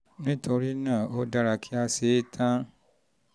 nítorí náà ó dára kí a ṣe é tán 1